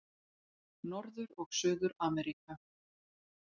Norður- og Suður-Ameríka